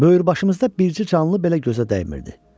Böyürbaşımızda bircə canlı belə gözə dəymirdi.